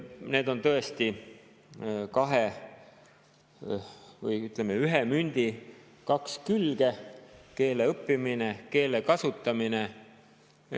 Need on tõesti ühe mündi kaks külge: keele õppimine ja keele kasutamine.